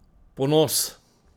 Ponos?